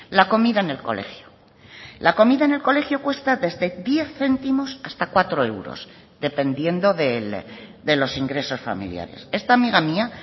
la comida en el colegio la comida en el colegio cuesta desde diez céntimos hasta cuatro euros dependiendo de los ingresos familiares esta amiga mía